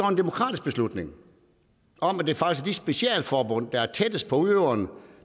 en demokratisk beslutning om at det faktisk er de specialforbund der er tættest på udøveren